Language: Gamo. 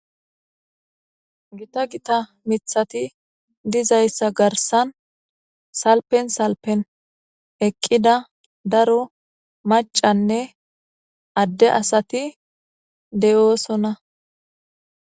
Gita Gita miththati dizayissa garissanni salfenni salfenni eqqida daro macanne ade asati de'osona.